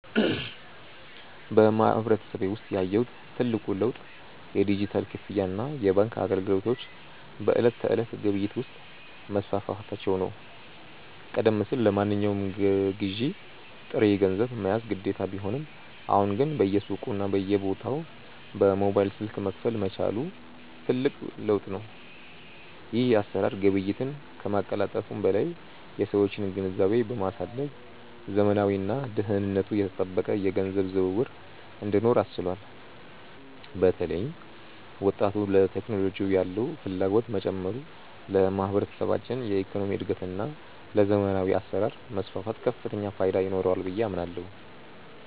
በማህበረሰቤ ውስጥ ያየሁት ትልቁ ለውጥ የዲጂታል ክፍያና የባንክ አገልግሎቶች በዕለት ተዕለት ግብይት ውስጥ መስፋፋታቸው ነው። ቀደም ሲል ለማንኛውም ግዢ ጥሬ ገንዘብ መያዝ ግዴታ ቢሆንም፣ አሁን ግን በየሱቁና በየቦታው በሞባይል ስልክ መክፈል መቻሉ ትልቅ ለውጥ ነው። ይህ አሰራር ግብይትን ከማቀላጠፉም በላይ የሰዎችን ግንዛቤ በማሳደግ ዘመናዊና ደህንነቱ የተጠበቀ የገንዘብ ዝውውር እንዲኖር አስችሏል። በተለይም ወጣቱ ለቴክኖሎጂ ያለው ፍላጎት መጨመሩ ለማህበረሰባችን የኢኮኖሚ እድገትና ለዘመናዊ አሰራር መስፋፋት ከፍተኛ ፋይዳ ይኖረዋል ብዬ አምናለሁ።